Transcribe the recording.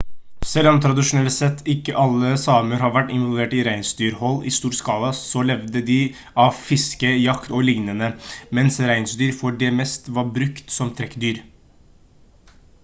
selv om tradisjonelt sett ikke alle samer har vært involvert i reinsdyrhold i stor skala så levde de av fiske jakt og lignende mens reinsdyr for det meste var brukt som trekkdyr